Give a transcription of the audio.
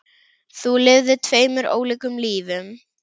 Þú lifðir tveimur ólíkum lífum.